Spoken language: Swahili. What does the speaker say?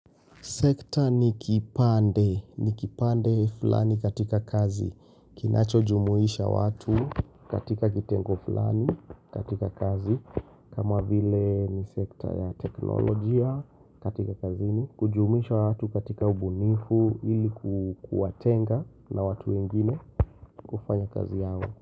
Sekta ni kipande, ni kipande fulani katika kazi, kinacho jumuhisha watu katika kitengo fulani katika kazi, kama vile ni sekta ya teknolojia katika kazini, kujumisha watu katika ubunifu ilikuwatenga na watu wengine kufanya kazi yao.